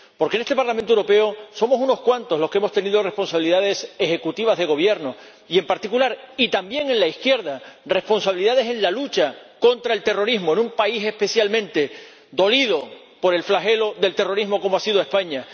Porque en este Parlamento Europeo somos unos cuantos los que hemos tenido responsabilidades ejecutivas de gobierno y, en particular y también en la izquierda, responsabilidades en la lucha contra el terrorismo en un país especialmente dolido por el flagelo del terrorismo como ha sido España.